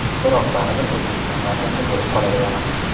Biroq baribir O‘zbekiston farzandi bo‘lib qolaveraman.